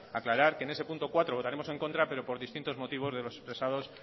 aclarar que en ese punto cuatro votaremos en contra pero por distintos motivos de los expresados